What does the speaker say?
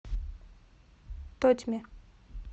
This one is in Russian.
тотьме